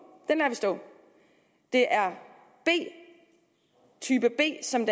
stå det er type b som